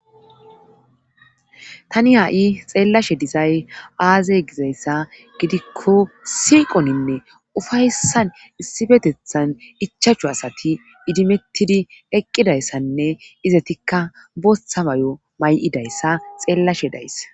tani haa7i xeellashe dizay aazey gizayssa gidikko siiqoninne ufayssan issipetethan ichachu asati idimettidi eqqidayssanne izatikka bothabayo may7idayssa xeellashe daysa